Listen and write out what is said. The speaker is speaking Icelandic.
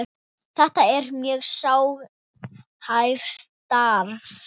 Þetta er mjög sérhæft starf.